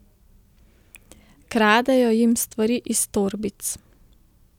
Kradejo jim stvari iz torbic.